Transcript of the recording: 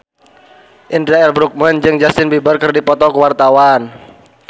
Indra L. Bruggman jeung Justin Beiber keur dipoto ku wartawan